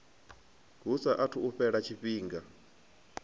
hu saathu u fhela tshifhinga